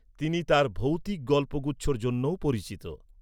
তিনি তার ভৌতিক গল্পগুচ্ছর জন্যও পরিচিত।